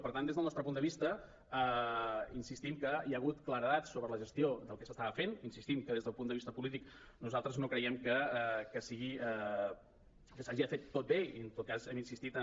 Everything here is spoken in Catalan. per tant des del nostre punt de vista insistim que hi ha hagut claredat sobre la gestió del que s’estava fent insistim que des del punt de vista polític nosaltres no creiem que s’hagi fet tot bé i en tot cas hem insistit a